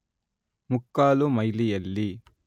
ಮುಕ್ಕಾಲು ಮೈಲಿಯಲ್ಲಿ